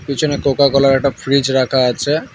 পিছনে কোকাকোলার একটা ফ্রিজ রাখা আছে।